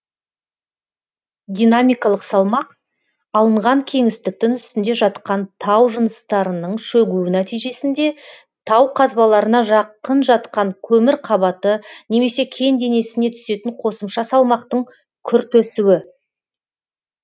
динамикалық салмақ алынған кеңістіктің үстінде жатқан тау жыныстарының шөгуі нәтижесінде тау қазбаларына жақын жатқан көмір қабаты немесе кен денесіне түсетін қосымша салмақтың күрт өсуі